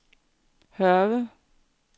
Hørve